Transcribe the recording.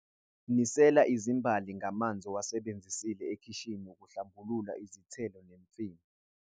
Nisela izimbali ngamanzi owasebenzise ekhishini ukuhlambulula izithelo nemifino.